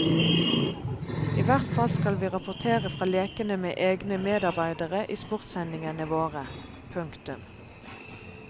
I hvert fall skal vi rapportere fra lekene med egne medarbeidere i sportssendingene våre. punktum